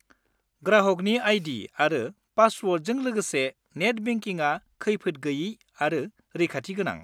ग्राहकनि आई.डी. आरो पासवर्डजों लोगोसे नेट बेंकिंआ खैफोद गोयि आरो रैखाथि गोनां।